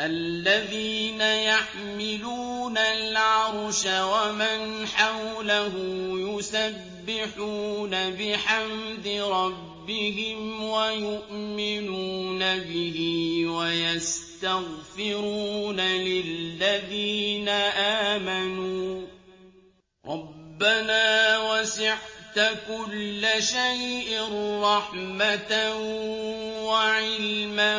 الَّذِينَ يَحْمِلُونَ الْعَرْشَ وَمَنْ حَوْلَهُ يُسَبِّحُونَ بِحَمْدِ رَبِّهِمْ وَيُؤْمِنُونَ بِهِ وَيَسْتَغْفِرُونَ لِلَّذِينَ آمَنُوا رَبَّنَا وَسِعْتَ كُلَّ شَيْءٍ رَّحْمَةً وَعِلْمًا